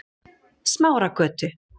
Smáragötu